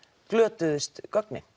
glötuðust gögnin